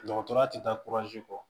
Dɔgɔtɔrɔya tɛ taa kɔ